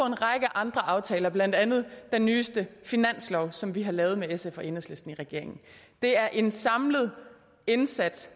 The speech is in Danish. en række andre aftaler blandt andet den nyeste finanslov som vi har lavet med sf og enhedslisten det er en samlet indsats